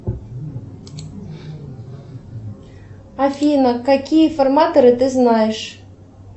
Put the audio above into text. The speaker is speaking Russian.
афина какие форматоры ты знаешь